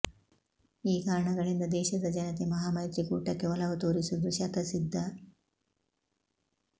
ಈ ಕಾರಣಗಳಿಂದ ದೇಶದ ಜನತೆ ಮಹಾಮೈತ್ರಿ ಕೂಟಕ್ಕೆ ಒಲವು ತೋರಿಸುವುದು ಶತಸಿದ್ಧ